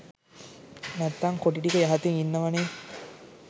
නැත්නං කොටි ටික යහතින් ඉන්නවනෙ.